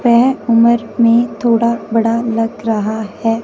वेह उमर में थोड़ा बड़ा लग रहा है--